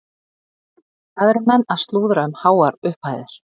Hvað eru menn að slúðra um háar upphæðir?